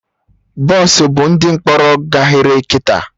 Bọsụ bu ndị mkpọrọ gaghere kịta